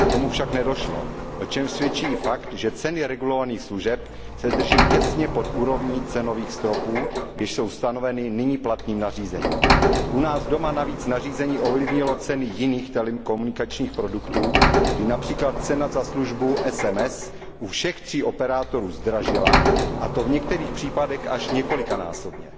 K tomu však nedošlo, o čem svědčí i fakt, že ceny regulovaných služeb se drží těsně pod úrovní cenových stropů, jež jsou stanoveny nyní platným nařízením. U nás doma navíc nařízení ovlivnilo ceny jiných telekomunikačních produktů, kdy se například cena za službu SMS u všech tří operátorů zvýšila, a to v některých případech až několikanásobně.